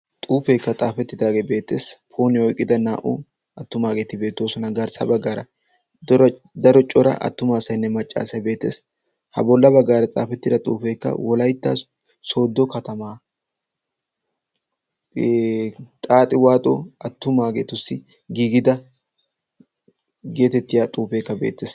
xuufeekka xaafettidageeka beettees. pooniyaa oykkida na'u attumaageti beettosona. garssa baggaara daro cora attuma asaynne macca asaynne bettees. ha bolla baggaara xeefettida xuufee wollaytta soddo katamaa xaaxi waaxo attumagetussi giigida getettetiyaa xeefekka beettees.